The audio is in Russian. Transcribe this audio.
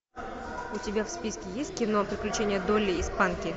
у тебя в списке есть кино приключения долли и спанки